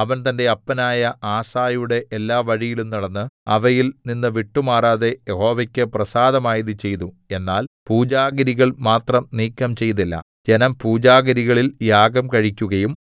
അവൻ തന്റെ അപ്പനായ ആസയുടെ എല്ലാ വഴിയിലും നടന്ന് അവയിൽ നിന്ന് വിട്ടുമാറാതെ യഹോവയ്ക്ക് പ്രസാദമായത് ചെയ്തു എന്നാൽ പൂജാഗിരികൾ മാത്രം നീക്കം ചെയ്തില്ല ജനം പൂജാഗിരികളിൽ യാഗം കഴിക്കുകയും